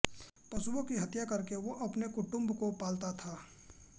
पशुओं की हत्या करके वह अपने कुटुम्ब को पालता था